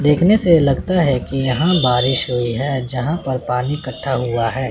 देखने से लगता है कि यहां बारिश हुई है जहां पर पानी इकट्ठा हुआ है।